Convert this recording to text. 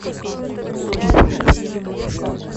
трип хоп